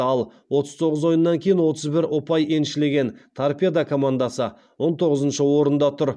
ал отыз тоғыз ойыннан кейін отыз бір ұпай еншілеген торпедо командасы он тоғызыншы орында тұр